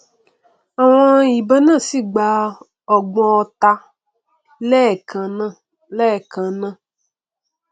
àwọn ìbọn náà sì gba ọgbọn ọta lẹẹkannáà lẹẹkannáà